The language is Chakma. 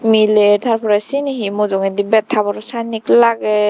mile tar porey sini he mujungedi bed haboro sannen lager.